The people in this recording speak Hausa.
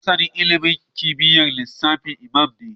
Masanin ilimin kimiyyar lissafi Imam ne